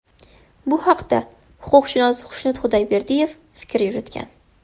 Bu haqda huquqshunos Xushnud Xudoyberdiyev fikr yuritgan .